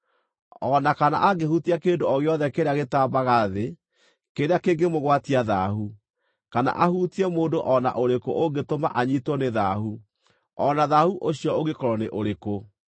o na kana angĩhutia kĩndũ o gĩothe kĩrĩa gĩtambaga thĩ kĩrĩa kĩngĩmũgwatia thaahu, kana ahutie mũndũ o na ũrĩkũ ũngĩtũma anyiitwo nĩ thaahu, o na thaahu ũcio ũngĩkorwo nĩ ũrĩkũ.